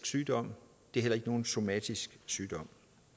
sygdom det er heller ikke nogen somatisk sygdom